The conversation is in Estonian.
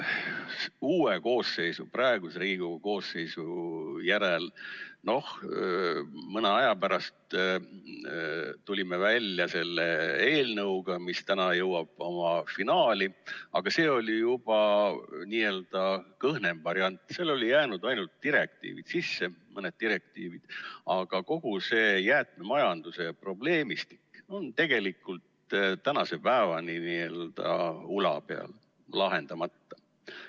Uue koosseisu, praeguse Riigikogu koosseisu ajal, noh, mõne aja pärast tulime välja selle eelnõuga, mis täna jõuab oma finaali, aga see on juba n-ö kõhnem variant, seal on jäänud ainult mõni direktiiv sisse, aga kogu see jäätmemajanduse probleemistik on tegelikult tänase päevani veel n-ö ula peal, lahendamata.